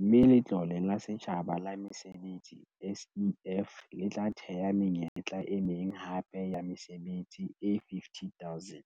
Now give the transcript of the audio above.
mme Letlole la Setjhaba la Mesebetsi, SEF, le tla thea menyetla e meng hape ya mesebetsi e 50 000.